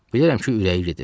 Bilirəm ki, ürəyi gedir.